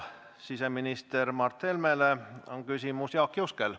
Siseminister Mart Helmele on küsimus Jaak Juskel.